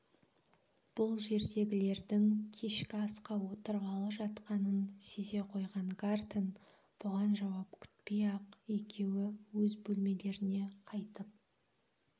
бұл жердегілердің кешкі асқа отырғалы жатқанын сезе қойған гартен бұған жауап күтпей-ақ екеуі өз бөлмелеріне қайтып